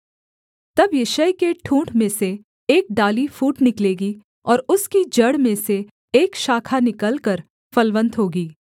तब यिशै के ठूँठ में से एक डाली फूट निकलेगी और उसकी जड़ में से एक शाखा निकलकर फलवन्त होगी